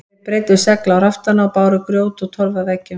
Þeir breiddu segl á raftana og báru grjót og torf að veggjum.